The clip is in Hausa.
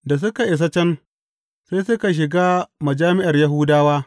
Da suka isa can, sai suka shiga majami’ar Yahudawa.